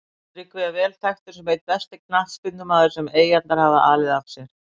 Tryggvi er vel þekktur sem einn besti knattspyrnumaður sem Eyjarnar hafa alið af sér.